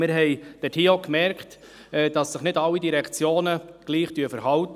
Wir haben festgestellt, dass sich nicht alle Direktionen gleich verhalten.